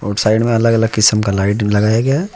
Side में अलग अलग किस्म का लाइट लगाया गया।